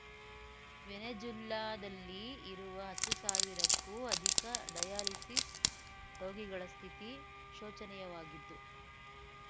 ವೆನೆಜುಲ್ಲಾದಲ್ಲಿ ಇರುವ ಹತ್ತು ಸಾವಿರಕ್ಕೂ ಅಧಿಕ ಡಯಾಲಿಸಿಸ್ ರೋಗಿಗಳ ಸ್ಥಿತಿ ಶೋಚನಿಯವಾಗಿದ್ದು